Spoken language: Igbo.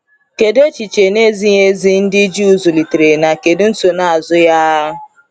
Kedu echiche na-ezighi ezi ndị Juu zụlitere na kedu nsonaazụ ya?